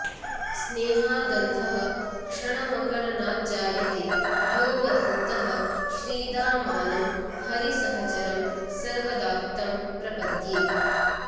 स्नेहादन्धः क्षणमकलनाज्जायते योऽवधूतः श्रीदामानं हरिसहचरं सर्वदा तं प्रपद्ये